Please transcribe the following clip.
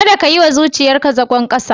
Kada ka yi wa zuciyarka zagon kasa.